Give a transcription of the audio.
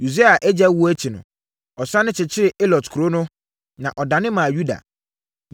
Usia agya wuo akyi no, ɔsane kyekyeree Elot kuro no, na ɔdane maa Yuda.